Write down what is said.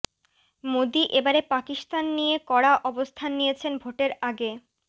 মোদী এবারে পাকিস্তান নিয়ে কড়া অবস্থান নিয়েছেন ভোটের আগে